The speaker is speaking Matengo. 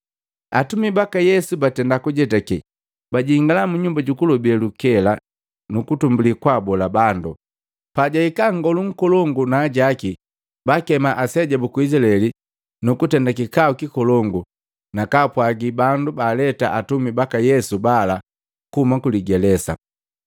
Atumi baka Yesu batenda kujetake, bajingala mu Nyumba jukulobe lukela nukutumbuli kwaabola bandu. Pajahika nngolu akolongu na ajaki, baakema aseja buku Izilaeli nukutenda kikau kikolongu na kaapwagi bandu baaleta atumi baka Yesu bala kuhuma kuligelesa.